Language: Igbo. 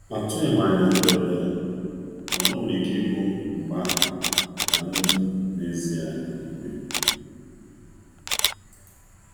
Atụghị m anya ndị ọbịa, mana o nwere ike ịbụ mgbe ahụ ka ndụ n'ezie na eme.